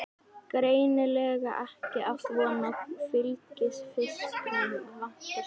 Greinilega ekki átt von á fylgifisknum, vantar stól.